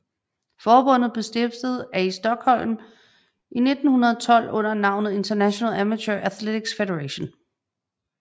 Forbundet blev stiftet af i Stockholm i 1912 under navnet International Amateur Athletics Federation